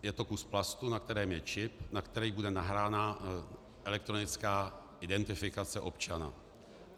Je to kus plastu, na kterém je čip, na který bude nahrána elektronická identifikace občana.